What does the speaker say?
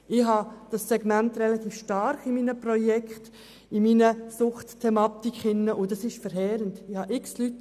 Dieses Segment ist in meinen Projekten im Zusammenhang mit der Suchtthematik relativ stark vertreten, was verheerend ist.